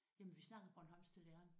Jamen vi snakkede bornholmsk til læreren